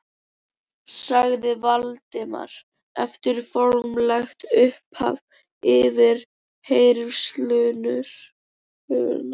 sagði Valdimar eftir formlegt upphaf yfirheyrslunnar.